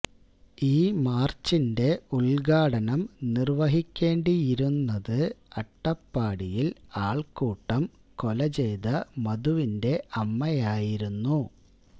ഈ മാർച്ചിന്റെ ഉദ്ഘാടനം നിർവ്വഹിക്കേണ്ടിയിരുന്നത് അട്ടപ്പാടിയിൽ ആൾക്കൂട്ടം കൊല ചെയ്ത മധുവന്റെ അമ്മയായിരുന്നു